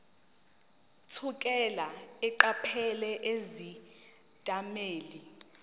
thukela eqaphela izethameli